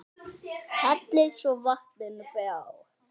Hellið svo vatninu frá.